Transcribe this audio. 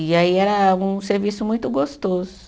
E aí era um serviço muito gostoso.